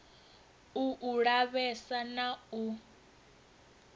u u lavhesa na u